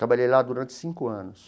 Trabalhei lá durante cinco anos.